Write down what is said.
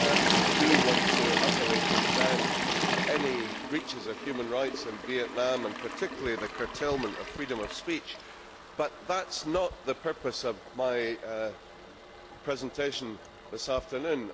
I do want to utterly condemn any breaches of human rights in Vietnam and particularly the curtailment of freedom of speech, but that is not the purpose of my presentation this afternoon.